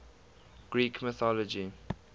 greek mythology